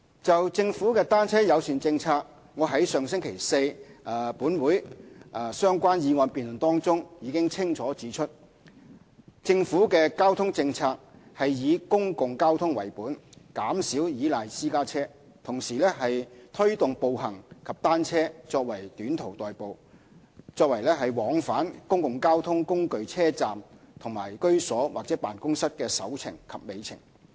就政府的"單車友善"政策，我在上星期四立法會相關議案辯論中已清楚指出，政府的交通政策是以公共交通為本，減少依賴私家車；同時推動步行及單車作短途代步，作為往返公共交通工具車站和居所或辦公室的"首程"及"尾程"。